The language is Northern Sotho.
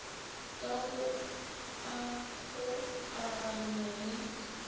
ka go a kgokaganya le